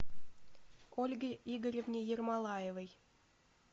ольге игоревне ермолаевой